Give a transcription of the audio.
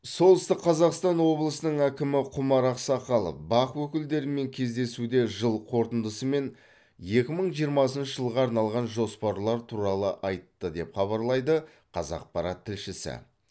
солтүстік қазақстан облысының әкімі құмар ақсақалов бақ өкілдерімен кездесуде жыл қорытындысы мен екі мың жиырмасыншы жылға арналған жоспарлар туралы айтты деп хабарлайды қазақпарат тілшісі